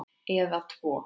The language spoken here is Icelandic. Eða tvo!